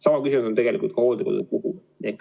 Sama küsimus on tegelikult ka hooldekodude puhul.